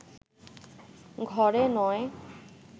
ঘরে নয়